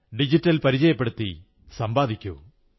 digital പരിചയപ്പെടുത്തി സമ്പാദിക്കൂ